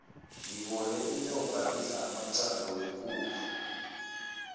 ngibone inyoka idla amaqanda wekukhu